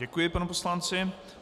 Děkuji panu poslanci.